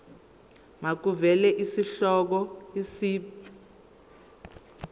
makuvele isihloko isib